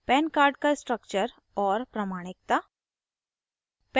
pan card का structure और प्रमाणिकता